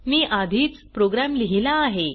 मी आधीच प्रोग्रॅम लिहिला आहे